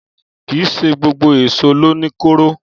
Kìí ṣé gbogbo èsó lo ní kóró.